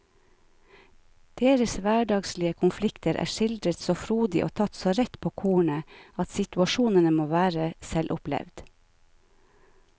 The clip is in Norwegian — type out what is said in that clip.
Deres hverdagslige konflikter er skildret så frodig og tatt så rett på kornet at situasjonene må være selvopplevd.